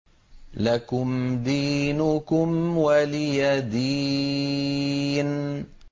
لَكُمْ دِينُكُمْ وَلِيَ دِينِ